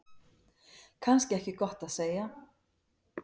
Kannski ekki gott að segja.